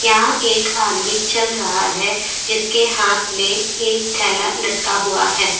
यहां एक आदमी चल रहा है जिसके हाथ में एक थैला लटका हुआ है।